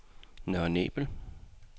Nørre Nebel